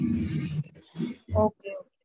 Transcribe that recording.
okay okay.